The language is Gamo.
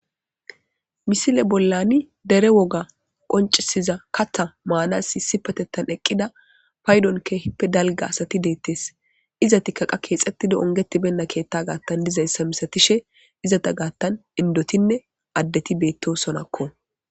misile bollani dere woga qoncisiza katha maanas isipatettan eqqida paydon kehppe dalga asati deettes izatikkaqa keexetida ongeti benna keetta gaattan dizayssa misatishe izata gaattan indotinne addeti beetto sonakko